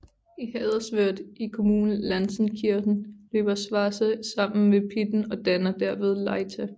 I Haderswörth i kommunen Lanzenkirchen løber Schwarza sammen med Pitten og danner derved Leitha